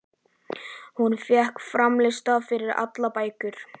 Hún fékk fram lista yfir allar bækur